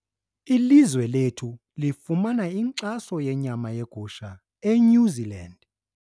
Ilizwe lethu lifumana inkxaso yenyama yegusha eNew Zealand.